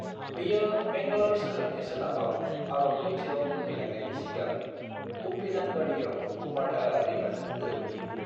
बेयो मैंगल'र सोहोरनि सोनाबाव आरब लैथोआव बोहैलांनायनि सिगां उप्पिनांगडीआव कुमारधारा दैमाजों गोरोबहैयो।